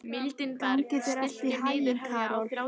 Gangi þér allt í haginn, Karol.